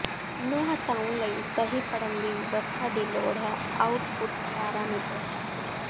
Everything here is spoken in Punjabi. ਨੂੰ ਹਟਾਉਣ ਲਈ ਸਹੀ ਪੜ੍ਹਨ ਦੀ ਵਿਵਸਥਾ ਦੀ ਲੋੜ ਹੈ ਆਉਟਪੁੱਟ ਪੈਰਾਮੀਟਰ